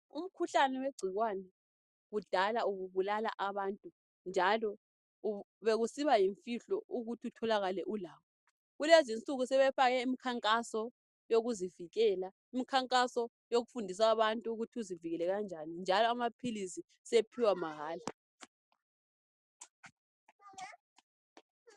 Umkhuhlane wegcikwane kudala ububulala abantu njalo bekusiba yimfihlo ukuthi utholakale ulawo. Kulezi insuku sebefake imikhankaso yokuzivikela. Imikhankaso yokufundisa abantu ukuthi uzivikele kanjani njalo amaphilizi sephiwa mahala.